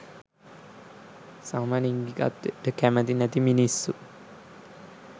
සමලින්ගිකත්වයට කැමති නැති මිනිස්සු